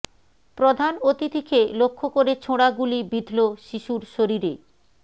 প্রধান অতিথিকে লক্ষ্য করে ছোড়া গুলি বিঁধল শিশুর শরীরে